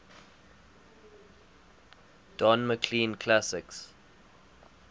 don mclean classics